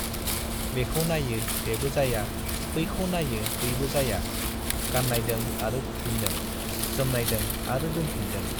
बेखौ नाइयो बेबो जाया , बैखौ नाइयो बैबो जाया , गान्नायदों आरो खुफिनदों, जोमनायदों आरो दोनफिनदों ।